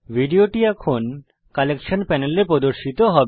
ভিডিওটি এখন সংগ্রহ কালেকশনপ্যানেলে প্রদর্শিত হবে